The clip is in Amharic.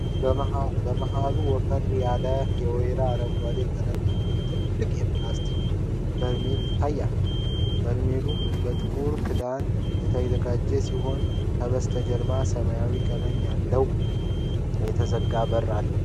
መሃሉ ወፈር ያለ፣ የወይራ አረንጓዴ ቀለም ያለው፣ ትልቅ የፕላስቲክ በርሜል ይታያል። በርሜሉ በጥቁር ክዳን የተዘጋ ሲሆን፣ ከበስተጀርባ ሰማያዊ ቀለም ያለው የተዘጋ በር አለ።